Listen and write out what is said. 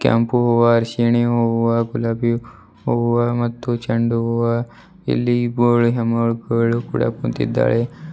ಕೆಂಪು ಹೂವ ಅರಿಸಿಣಿ ಹೂವ ಗುಲಾಬಿ ಹೂವ ಮತ್ತು ಚೆಂಡೂ ಹೂವ ಇಲ್ಲಿ ಹೆಣ್ಣು ಮಗಳು ಕೂಡ ಕುಂತಿದ್ದಾಳೆ.